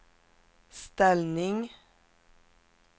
ställning